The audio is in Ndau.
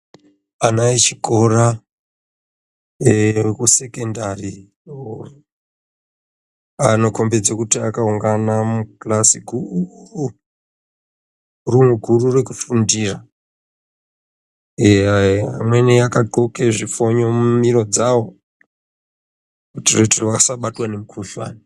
Ana echikora eee ekusekendari, anokombedze kuti akaungana mukilasi guru, rumu guru rekufundira, eeeeya vamweni vakadzxoke zvifonyo mumiro dzavo kuyitire kuti vasabatwa ngemukuhlani.